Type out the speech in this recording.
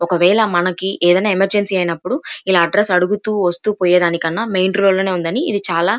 ఒకవేళ మనకి ఏమైనా ఎమర్జెన్సీ అయినప్పుడు ఇలా అడ్రస్ అడుగుతూ వస్తు పోయేదానికన్నా మెయిన్ రోడ్డు లోని ఉందని ఇది చాలా --